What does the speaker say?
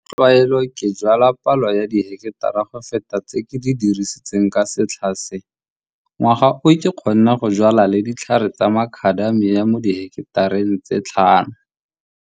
Ka tlwaelo ke jwala palo ya diheketara go feta tse ke di dirisitseng ka setlha se. Ngwaga o ke kgonne go jwala le ditlhare tsa Macadamia mo diheketareng tse 5.